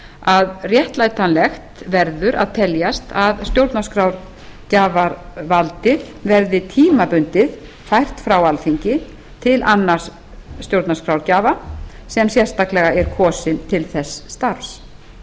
að réttlætanlegt verður að teljast að stjórnarskrárgjafarvaldið verði tímabundið fært frá alþingi til annars stjórnarskrárgjafa sem sérstaklega er kosinn til þess starfs